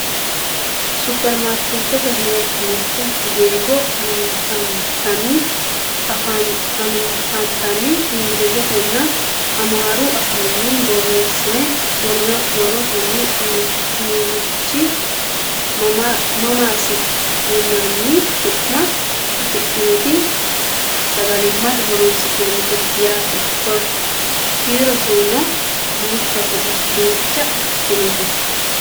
supperimaarkeettete mirte giggo anfanniti ingilizetenna amaaru afiinni borreessine worroonniti inirichi maamaasi yinanni su'ma afidhinoti sagalimmate horonsi'nannite yaate kiiroseno duucha ikkitinote